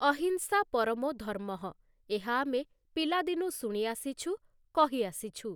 ଅହିଂସା ପରମୋ ଧର୍ମଃ ଏହା ଆମେ ପିଲାଦିନୁ ଶୁଣିଆସିଛୁ, କହିଆସିଛୁ ।